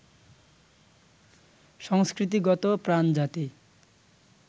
সংস্কৃতিগত-প্রাণ জাতি